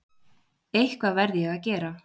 Eitthvað verð ég að gera.